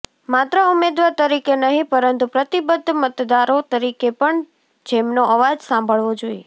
માત્ર ઉમેદવાર તરીકે નહિ પરંતુ પ્રતિબદ્ધ મતદારો તરીકે પણ જેમનો અવાજ સાંભળવો જોઈએ